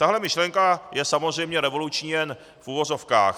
Takhle myšlenka je samozřejmě revoluční jen v uvozovkách.